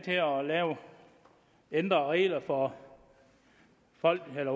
ændre reglerne for